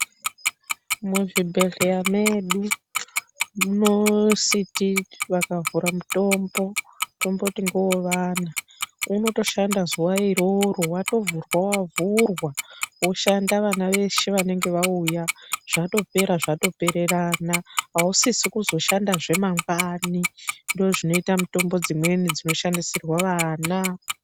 Muzvibhedhleya medu munositi vakavhura mutombo tomboti ngoowana unotoshanda zuwa iroro, vatovhurwa vatovhurwa woshanda vana weshe vanenge wauya zvatopera zvatopererana ausisizve kuzoshandazve mangwani ndozvinoita mitombo dzimweni dzinoshandisirwa vana.